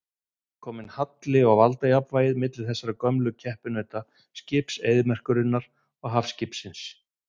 Það er kominn halli á valdajafnvægið milli þessara gömlu keppinauta, skips eyðimerkurinnar og hafskipsins.